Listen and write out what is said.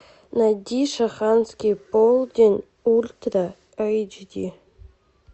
найди шанхайский полдень ультра эйч ди